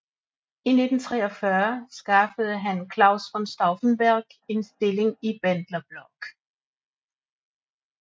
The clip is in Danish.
I 1943 skaffede han Claus von Stauffenberg en stilling i Bendlerblock